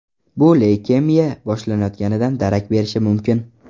Bu leykemiya boshlanayotganidan darak berishi mumkin.